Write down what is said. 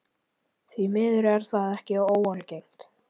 Því miður er það ekki óalgengt.